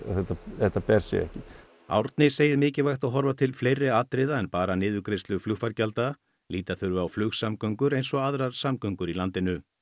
þetta þetta ber sig ekki Árni segir mikilvægt að horfa til fleiri atriða en bara til niðurgreiðslu flugfargjalda líta þurfi á flugsamgöngur eins og aðrar samgöngur í landinu